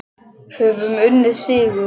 Höfum unnið sigur.